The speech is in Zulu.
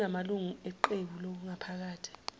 kunamalungu eqebu langaphakathi